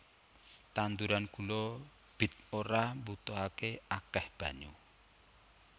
Tanduran gula bit ora mbutuhaké akéh banyu